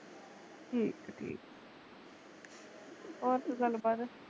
ਠੀਕ ਠੀਕ ਹੋਰ ਕੋਈ ਗਲ ਬਾਤ